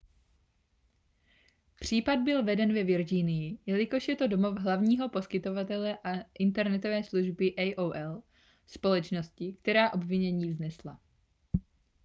případ byl veden ve virginii jelikož je to domov hlavního poskytovatele internetové služby aol společnosti která obvinění vznesla